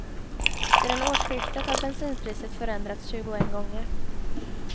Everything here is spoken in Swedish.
Sedan årsskiftet har bensinpriset förändrats tjugoen gånger.